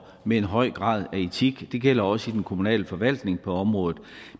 med en høj grad af etik det gælder også i den kommunale forvaltning på området